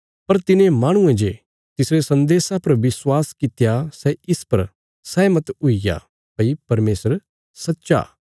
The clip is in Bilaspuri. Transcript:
पर तिने माहणुये जे तिसरे सन्देशा पर विश्वास कित्या सै इस पर सैहमत हुईग्या भई परमेशर सच्चा